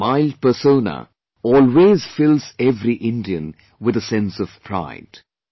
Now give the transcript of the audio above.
His mild persona always fills every Indian with a sense of pride